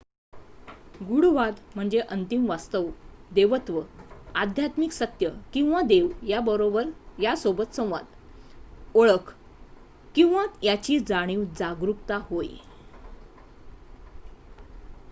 गूढवाद म्हणजे अंतिम वास्तव देवत्व आध्यात्मिक सत्य किंवा देव यासोबत संवाद ओळख किंवा याची जाणीव जागरूकता होय